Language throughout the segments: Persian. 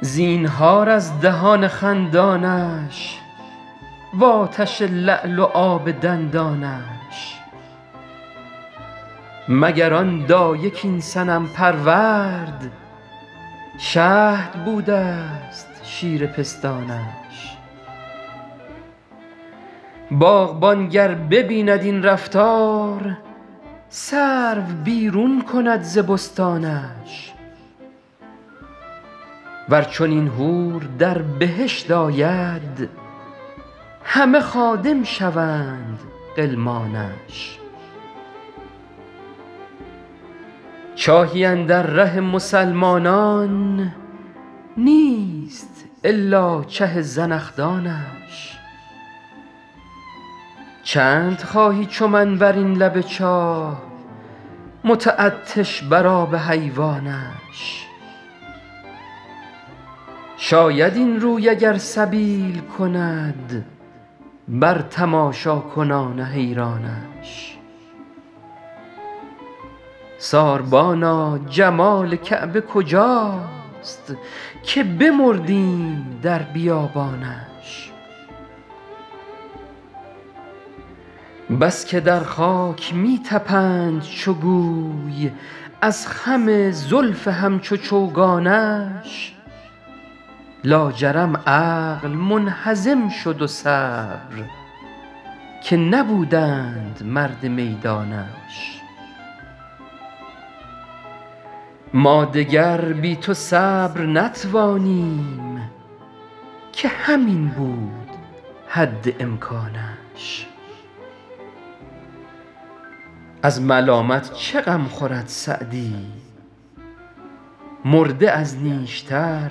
زینهار از دهان خندانش و آتش لعل و آب دندانش مگر آن دایه کاین صنم پرورد شهد بوده ست شیر پستانش باغبان گر ببیند این رفتار سرو بیرون کند ز بستانش ور چنین حور در بهشت آید همه خادم شوند غلمانش چاهی اندر ره مسلمانان نیست الا چه زنخدانش چند خواهی چو من بر این لب چاه متعطش بر آب حیوانش شاید این روی اگر سبیل کند بر تماشاکنان حیرانش ساربانا جمال کعبه کجاست که بمردیم در بیابانش بس که در خاک می طپند چو گوی از خم زلف همچو چوگانش لاجرم عقل منهزم شد و صبر که نبودند مرد میدانش ما دگر بی تو صبر نتوانیم که همین بود حد امکانش از ملامت چه غم خورد سعدی مرده از نیشتر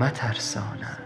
مترسانش